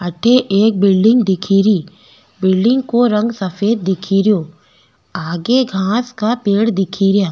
अठ एक बिल्डिंग दिखेरी बिल्डिंग को रंग सफ़ेद दिखेरो आगे घांस का पेड़ दिखे रा।